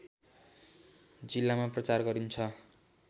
जिल्लामा प्रचार गरिन्छ